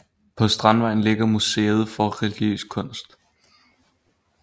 På Strandvejen ligger Museet for Religiøs Kunst